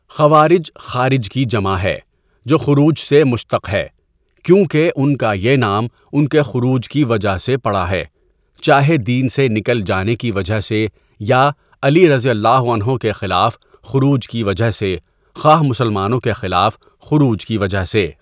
خوارج خارج کی جمع ہےجوخروج سےمشتق ہے ،کیونکہ ان کایہ نام ان کےخروج کی وجہ سےپڑاہے ، چاہےدین سےنکل جانےکی وجہ سےیا علی رضی اللہ عنہ کےخلاف خروج کی وجہ سےخواہ مسلمانوں کے خلاف خروج کی وجہ سے.